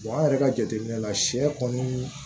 an yɛrɛ ka jateminɛ la sɛ kɔni